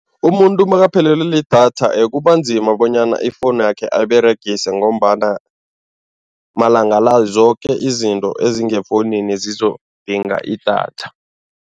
Umuntu makaphelelwe lidatha kuba nzima bonyana ifowunakhe ayiberegise ngombana malanga la zoke izinto ezingefowunini zizokudinga idatha.